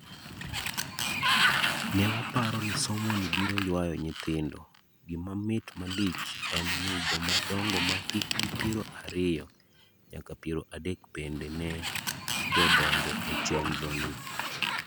Newaparo ni somoni biro yuayo nyithindo, gima mit malich en ni jomadongo mahikgi piero ariyo nyaka piero adek bende ne jodonjo e chenroni.